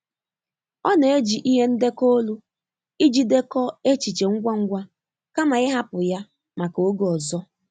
Ọ na-eji ihe ndekọ olu iji dekọọ echiche ngwa ngwa kama ịhapụ ha maka oge ọzọ.